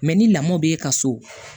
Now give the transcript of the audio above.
ni lamɔ b'e ka so